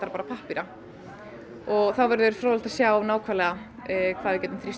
bara pappíra það verður fróðlegt að sjá hvað við getum þrýst